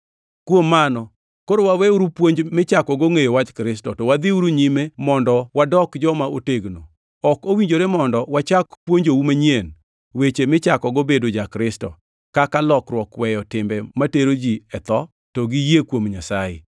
Kuom mano koro waweuru puonj michakogo ngʼeyo wach Kristo, to wadhiuru nyime mondo wadok joma otegno. Ok owinjore mondo wachak puonjou manyien weche michakogo bedo ja-Kristo, kaka lokruok weyo timbe matero ji e tho to gi yie kuom Nyasaye;